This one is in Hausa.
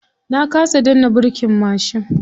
Na kasa danna birkin mashin.